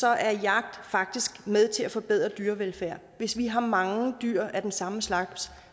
er jagt faktisk med til at forbedre dyrevelfærden hvis vi har mange dyr af den samme slags